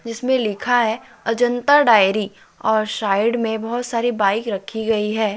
इसमें लिखा है अजंता डायरी और साइड में बहोत सारी बाइक रखी गई है।